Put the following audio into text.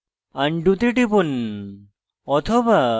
undo তে টিপুন